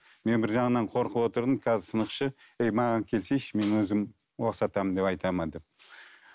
мен бір жағынан қорқып отырдым қазір сынақшы ей маған келсейші мен өзім ұқсатамын деп айтады ма деп